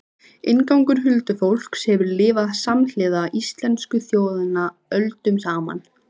Inngangur Huldufólk hefur lifað samhliða íslensku þjóðinni öldum saman.